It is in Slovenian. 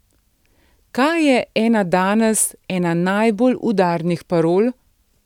Kaj je ena danes ena najbolj udarnih parol?